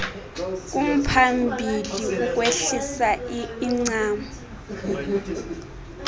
kumphambili ukwehlisa incam